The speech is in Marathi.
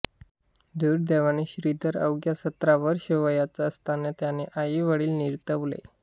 दुर्दैवाने श्रीधर अवघ्या सतरा वर्षे वयाचा असताना त्याचे आईवडील निवर्तले